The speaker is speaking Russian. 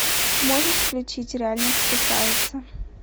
можешь включить реальность кусается